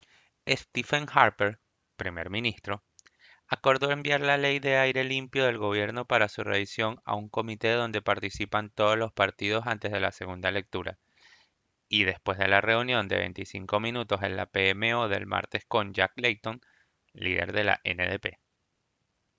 stephen harper primer ministro acordó enviar la ley de aire limpio del gobierno para su revisión a un comité donde participan todos los partidos antes de la segunda lectura y después de la reunión de 25 minutos en la pmo del martes con jack layton líder del ndp